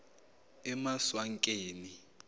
emaswakeni